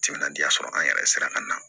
Timinandiya sɔrɔ an yɛrɛ sera ka na